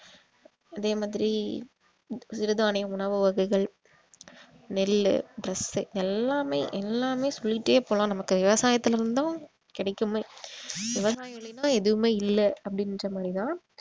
அதே மாதிரி சிறுதானிய உணவு வகைகள் நெல்லு dress உ எல்லாமே எல்லாமே சொல்லிட்டே போலாம் நமக்கு விவசாயத்தில இருந்து தான் கிடைக்குமே விவசாயம் இல்லைன்னா எதுவுமே இல்லை அப்படின்ற மாதிரி தான்